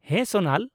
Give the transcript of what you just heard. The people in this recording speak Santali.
ᱦᱮᱸ, ᱥᱳᱱᱟᱞ ᱾